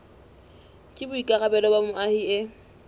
ke boikarabelo ba moahi e